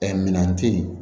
Ɛɛ minɛn tɛ yen